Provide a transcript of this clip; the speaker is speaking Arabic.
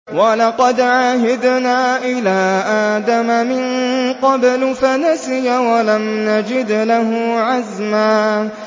وَلَقَدْ عَهِدْنَا إِلَىٰ آدَمَ مِن قَبْلُ فَنَسِيَ وَلَمْ نَجِدْ لَهُ عَزْمًا